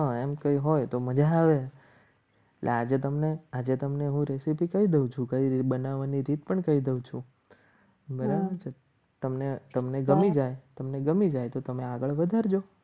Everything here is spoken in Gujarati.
એમ કઈ હોય તો મજા આવે એટલે આજે તમને આજે તમને રેસીપી કહી દઉં છું કઈ રીતે બનાવવાની રીત પણ કહી દઉં છું તમને તમને ગમી જાય તમને ગમી જાય તો તમે આગળ વધારજો.